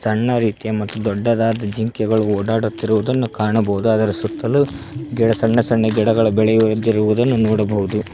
ಸಣ್ಣ ರೀತಿಯ ಮತ್ತು ದೊಡ್ಡದಾದ ಜಿಂಕೆಗಳು ಒಡಾಡುತ್ತಿರುದನ್ನು ಕಾಣಬಹುದು ಅದರ ಸುತ್ತಲೂ ಗಿಡ ಸಣ್ಣ ಸಣ್ಣ ಗಿಡಗಳ ಬೆಳೆಯುವದಿರುವುದನ್ನು ನೋಡಬಹುದು.